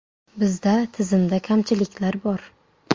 Bizda tizimda kamchiliklar bor.